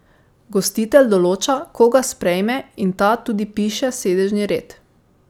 Gostitelj določa, koga sprejme in ta tudi piše sedežni red.